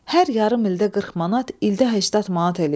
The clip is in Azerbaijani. Hər yarım ildə 40 manat, ildə 80 manat eləyir.